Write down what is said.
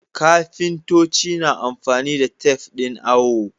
Kafintoci na amfani da tafe ɗin awo.